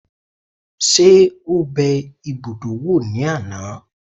Ṣé ó bẹ ibùdó wò ní àná?